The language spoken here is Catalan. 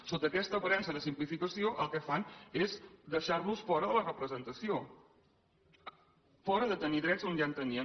sota aquesta aparença de simplificació el que fan és deixar los fora de la representació fora de tenir drets on ja en tenien